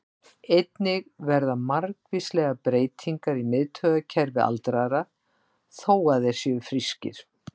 Einnig verða margvíslegar breytingar í miðtaugakerfi aldraðra, þó að þeir séu frískir.